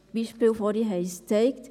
Beispiele vorhin haben es gezeigt.